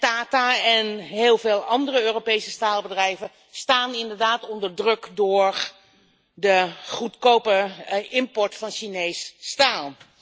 Tata en heel veel andere Europese staalbedrijven staan inderdaad onder druk door de goedkope import van Chinees staal.